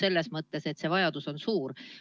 Vajadus sellele tähelepanu pöörata on suur.